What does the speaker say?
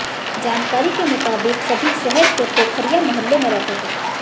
जानकारी के मुताबिक सभी शहर के पोखरिया मोहल्ले में रहते थे